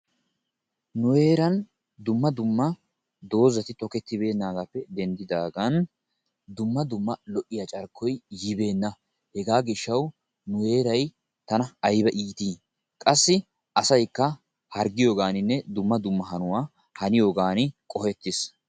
nu heeran Dumma dumma dozati tokettibeenaagaappe denddidaagan Dumma dumma lo'iya carkkoy yibeenna hegaa gishawu nu heegay tana ayba iiti? qassi asaykka harggiyoogaani Dumma dumma hanuwa hanniyogani qohettiis.